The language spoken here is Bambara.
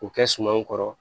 K'u kɛ sumanw kɔrɔ